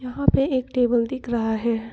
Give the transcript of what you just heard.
यहां पे एक टेबल दिख रहा है।